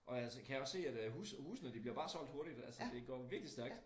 Og altså kan også se at øh hus husene de bliver bare solgt hurtigt altså det går virkelig stærkt